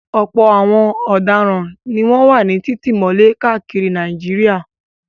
Ọ̀pọ̀ àwọn ọ̀daràn ni wọ́n wà ní títì mọ́lẹ̀ káàkiri Nàìjíríà.